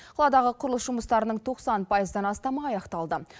қаладағы құрылыс жұмыстарының тоқсан пайыздан астамы аяқталды